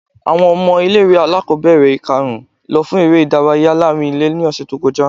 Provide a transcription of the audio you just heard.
Awọn ọmọ ile-iwe alakọbẹrẹ ikarun lọ fún ere idarayá laarín-ilé ni ọsẹ to kọja